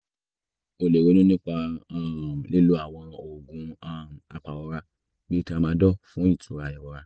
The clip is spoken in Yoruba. o lè ronú nípa um lílo àwọn oògùn um apàrora bíi [ca] tramadol fún ìtura ìrora